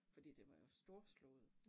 Fordi den var jo storslået